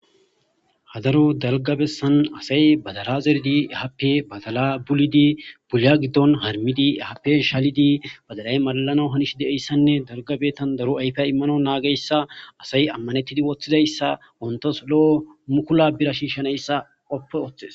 Ha daro dalga bessan asay badala zerdi happe badala bulidi puliya giddon harmidi ehaappe shaalidi badalay malalanaw hanishe de7iyssanne dalga biitan daro ayfa immanawu naagiyssa asay ammanettidi woththidayssa wontos lo7o mukula bira shiishanayssa qoppi ooththes.